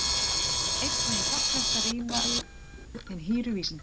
einnig er hjálplegt að rýna í hin hýru vísindi